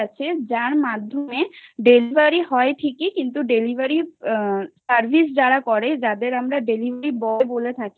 যার মাধ্যমে delivery হয় ঠিকই কিন্তু delivery service যারা করে তাদের আমরা delivery boy বলে থাকি